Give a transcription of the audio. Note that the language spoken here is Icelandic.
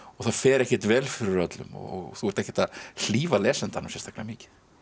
það fer ekkert vel fyrir öllum og þú ert ekkert að hlífa lesandanum sérstaklega mikið